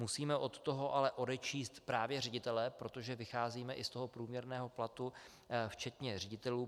Musíme od toho ale odečíst právě ředitele, protože vycházíme i z toho průměrného platu včetně ředitelů.